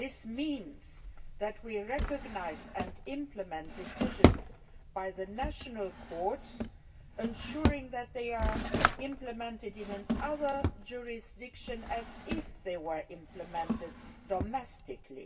This means that we recognise and implement decisions by the national courts, ensuring that they are implemented in another jurisdiction as if they were being implemented domestically.